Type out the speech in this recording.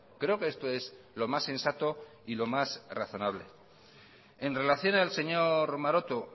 creo que esto es lo más sensato y lo más razonable en relación al señor maroto